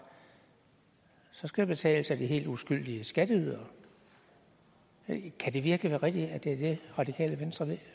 så skal det betales af de helt uskyldige skatteydere kan det virkelig være rigtigt at det er det radikale venstre